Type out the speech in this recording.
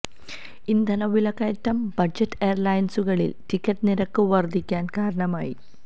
ഇന്ധന വിലക്കയറ്റം ബജറ്റ് എയര്ലൈനുകളില് ടിക്കറ്റ് നിരക്ക് വര്ധിക്കാന് കാരണമായി